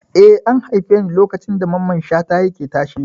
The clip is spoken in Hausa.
Eh, an haife ni lokacin da Mamman Shata yake tashe.